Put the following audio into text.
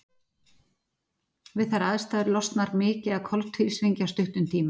Við þær aðstæður losnar mikið af koltvísýringi á stuttum tíma.